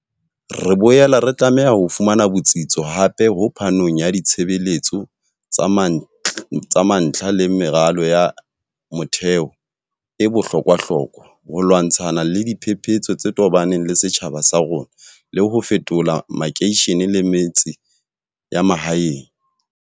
Re boela re tlameha ho fumana botsitso hape ho phanong ya ditshebeletso tsa mantlha le meralo ya motheo e bohlokwahlokwa, ho lwantshana le diphepetso tse tobaneng le setjhaba sa rona le ho fetola makeishene le metse ya mahaeng.